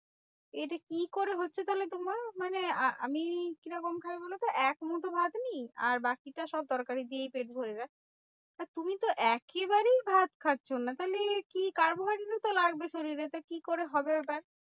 এটা কি করে হচ্ছে তাহলে তোমার? মানে আ আমি কি রকম খাই বলোতো? এক মুঠো ভাত নিই আর বাকিটা সব তরকারি দিয়েই পেট ভরে যায়। আর তুমি তো একেবারেই ভাত খাচ্ছো না, তাহলে কি carbohydrate তো লাগবে শরীরে, তাহলে কি করে হবে ওটা?